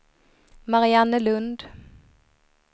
Mariannelund